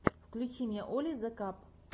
включи мне оли зе каб